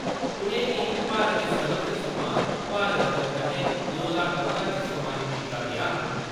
उनेंगी भारत दे सर्वोच्च सम्मान भारत रत्न कन्नै दो ज्हार पंदरां च सम्मानत कीता गेआ हा।